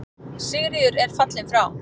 Sigríður er fallin frá.